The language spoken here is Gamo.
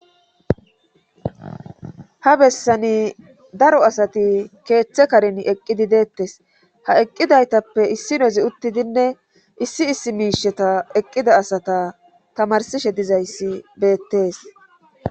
Ha bessani daro asati keeththe karin eqqidi deettes ha eqqidaytappe issinozi uttidinne issi issi miisheta eqqida asata tamarsishe dizayssi beettees.